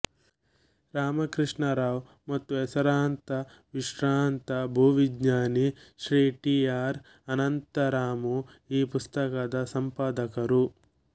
ರಾಮಕೃಷ್ಣರಾವ್ ಮತ್ತು ಹೆಸರಾಂತ ವಿಶ್ರಾಂತ ಭೂವಿಜ್ಞಾನಿ ಶ್ರೀ ಟಿ ಅರ್ ಅನಂತರಾಮು ಈ ಪುಸ್ತಕದ ಸಂಪಾದಕರು